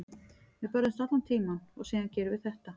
Við börðumst allan tímann og síðan gerum við þetta.